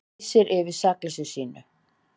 Lýsir yfir sakleysi sínu